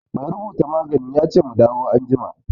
Mai rubuta magani ya ce mu dawo anjima.